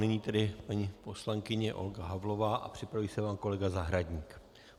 Nyní tedy paní poslankyně Olga Havlová a připraví se pan kolega Zahradník.